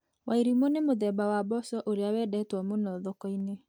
Wairimũ nĩ mũthemba wa mboco ũrĩa wendetwo mũno thoko-inĩ.